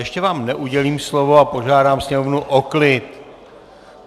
Ještě vám neudělím slovo a požádám sněmovnu o klid!